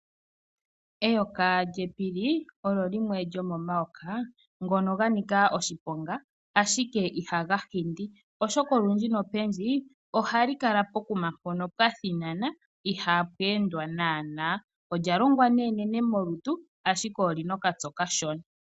Eyoka lyepili olyo limwe lyomomayoka ngono ga nika oshiponga , ashike ihaga hindi oshoka olundji ohali kala pokuma mpono pwa thinana ihaapu endwa naanaa. Olya longwa enene molutu ashike oli na okatse okashona.